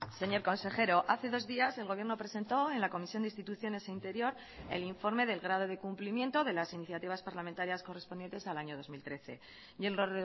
señor consejero hace dos días el gobierno presentó en la comisión de instituciones e interior el informe del grado de cumplimiento de las iniciativas parlamentarias correspondientes al año dos mil trece y en lo